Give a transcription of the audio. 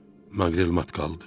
Maqrel mat qaldı.